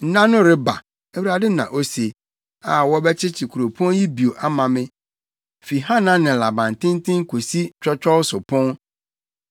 “Nna no reba,” Awurade na ose, “a wɔbɛkyekye kuropɔn yi bio ama me, fi Hananel abantenten kosi Twɔtwɔw so Pon.